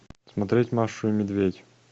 смотреть машу и медведь